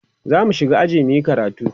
zamu shiga aji muyi karatu